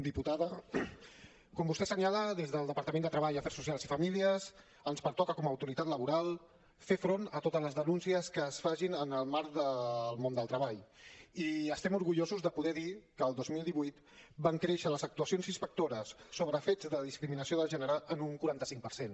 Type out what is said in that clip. diputada com vostè assenyala des del departament de treball afers socials i famílies ens pertoca com a autoritat laboral fer front a totes les denúncies que es facin en el marc del món del treball i estem orgullosos de poder dir que el dos mil divuit van créixer les actuacions inspectores sobre fets de discriminació de gènere en un quaranta cinc per cent